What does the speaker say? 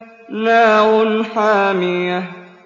نَارٌ حَامِيَةٌ